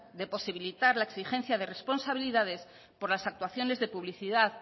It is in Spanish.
de posibilitar la exigencia de responsabilidades por las actuaciones de publicidad